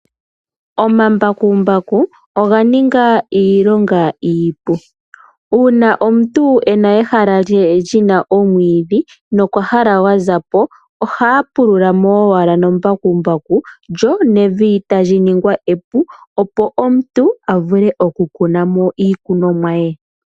Omambakumbaku oga ninga iilonga iipu. Uuna omuntu ena ehala lye lyina omwiidhi nokwahala gwa zapo ohaya pululamo owala na mbakumbaku . lyo nevi tali ningwa epu opo omuntu avule oku kuna mo iikunomwa ye.